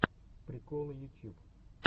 приколы ютьюб